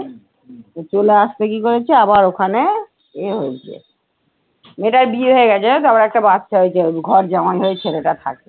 চলে আসতে কী করেছে আবার ওখানে এ হয়েছে মেয়েটার বিয়ে হয়ে গেছে জানো তো আবার একটা বাচ্চা হয়েছে এখন, ঘরজামাই হয়ে ছেলেটা থাকে।